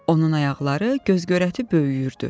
Onun ayaqları göz-görəti böyüyürdü.